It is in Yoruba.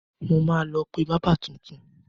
Mo máa lọ pé bábà tuntun.